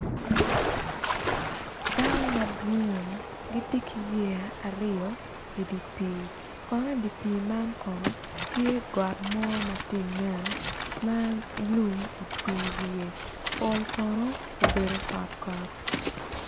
Dano madwong gitye ki yeya i dye pii got tye ka nen pol kono obedo kotkot.